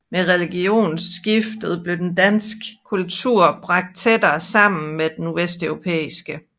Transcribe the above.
Med religionsskiftet blev den danske kultur bragt tættere sammen med den vesteuropæiske